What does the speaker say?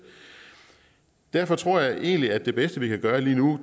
derfor tror jeg egentlig at det bedste vi kan gøre lige nu